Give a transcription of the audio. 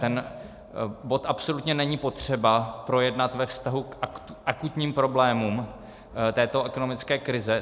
Ten bod absolutně není potřeba projednat ve vztahu k akutním problémům této ekonomické krize.